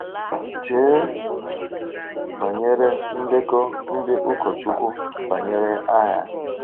Chee banyere ndekọ ndị ụkọchukwu banyere agha.